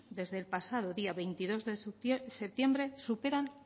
desde el pasado día veintidós de septiembre superan